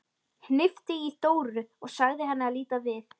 Hnippti í Dóru og sagði henni að líta við.